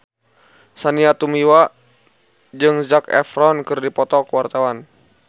Sandy Tumiwa jeung Zac Efron keur dipoto ku wartawan